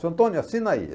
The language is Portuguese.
Senhor Antônio, assina aí.